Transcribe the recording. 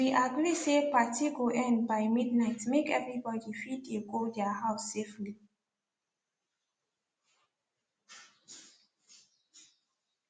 we agree say party go end by midnight make everybody fit dey go their house safely